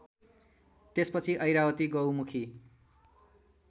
त्यसपछि ऐरावती गौमुखी